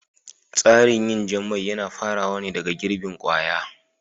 Tsarin yin jan mai yana farawa ne daga girbin kwaya